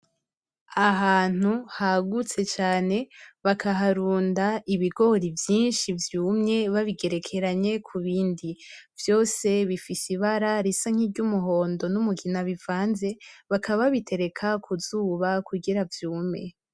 Ahantu hagutse cane, bakaharunda ibigori vyinshi vyumye babigerekeranye ku bindi. Vyose bifise ibara risa nk'iryumuhondo n'umugina bivanze bakaba babitereka ku zuba kugira vyume.